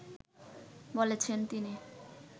বলেছেন তিনি